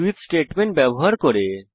switch statement ব্যবহার করে